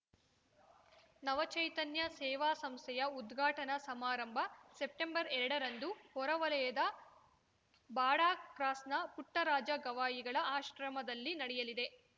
ನವ ಚೈತನ್ಯ ಸೇವಾ ಸಂಸ್ಥೆಯ ಉದ್ಘಾಟನಾ ಸಮಾರಂಭ ಸೆಪ್ಟೆಂಬರ್ಎರಡರಂದು ಹೊರವಲಯದ ಬಾಡ ಕ್ರಾಸ್‌ನ ಪುಟ್ಟರಾಜ ಗವಾಯಿಗಳ ಆಶ್ರಮದಲ್ಲಿ ನಡೆಯಲಿದೆ